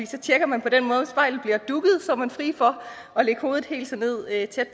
så tjekker man på den måde og så er man fri for at lægge hovedet helt tæt